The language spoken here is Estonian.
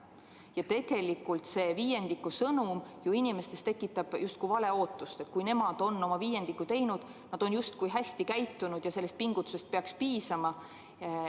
Nii et tegelikult see viiendiku võrra vähendamise sõnum tekitab inimestes justkui vale ootust, et kui nemad on oma viiendiku võrra vähendamise teinud, nad on justkui hästi käitunud, siis sellest pingutusest peaks piisama.